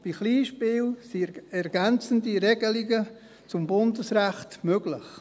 Bei Kleinspielen sind ergänzende Regelungen zum Bundesrecht möglich.